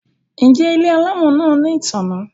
Njé Ile alamò náa ní ìtanná?